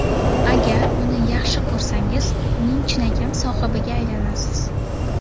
Agar uni yaxshi ko‘rsangiz, uning chinakam sohibiga aylanasiz!